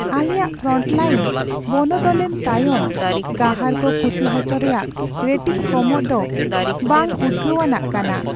ᱟᱞᱮᱭᱟᱜ ᱯᱷᱨᱚᱱᱴᱞᱟᱭᱤᱱ ᱵᱚᱱᱚᱫᱚᱞᱮᱱ ᱛᱟᱭᱚᱢ ᱜᱟᱦᱟᱨ ᱠᱚ ᱠᱩᱥᱤ ᱦᱚᱪᱚ ᱨᱮᱭᱟᱜ ᱨᱮᱴᱤᱝ ᱠᱚᱢᱚᱜ ᱫᱚ ᱵᱟᱝᱼᱩᱫᱜᱟᱹᱣᱟᱱᱟᱜ ᱠᱟᱱᱟ ᱾